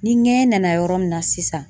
Ni ŋɛɲɛ nana yɔrɔ min na sisan.